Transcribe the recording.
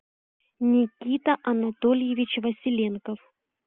никита анатольевич василенков